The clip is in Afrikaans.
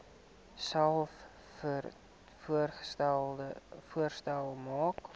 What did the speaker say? selfs voorstelle maak